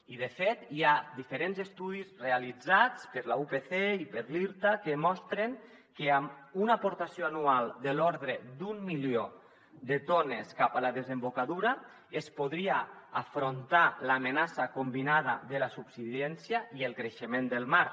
i de fet hi ha diferents estudis realitzats per la upc i per l’irta que mostren que amb una aportació anual de l’ordre d’un milió de tones cap a la desembocadura es podria afrontar l’amenaça combinada de la subsidència i el creixement del mar